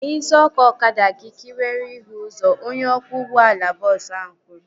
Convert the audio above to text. Gbaghee isi ọkụ ọkada gị ka ị were hụ ụzọ! Onye ọkwọ ụgbọala bọọsu ahu kwuru